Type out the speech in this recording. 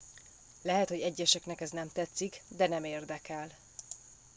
lehet hogy egyeseknek ez nem tetszik de nem érdekel